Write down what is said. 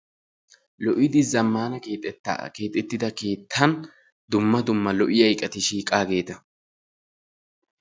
Lo''idi zammana keexxettaa keexxettida keettan dumma dumma lo''iyaa iqqati shiiqaageta.